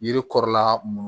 Yiri kɔrɔla mun